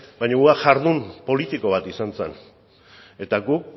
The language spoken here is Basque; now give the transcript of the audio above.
baina hura jardun politiko bat izan zen eta gu